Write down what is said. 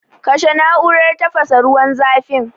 kashe na'urar tafasa ruwan zafin.